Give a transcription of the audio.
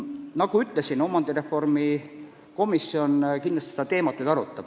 " Nagu ma ütlesin, omandireformi komisjon kindlasti seda teemat arutab.